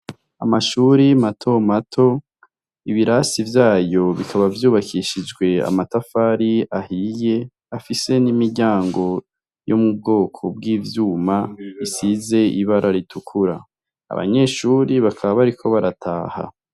Amashuri mato mato ,ibirasi vyayo bikaba vyubakishijwe amatafari ahiye, afise n'imiryango yo mu bwoko bw'ivyuma, isize ibara ritukura, abanyeshuri bakaba bariko barataha.